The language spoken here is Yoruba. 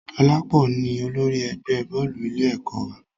Dolapo ni olórí ẹgbẹ́ bọ́ọ̀lù ilé ẹ̀kọ́ wa